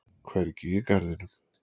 Hvergi í garðinum.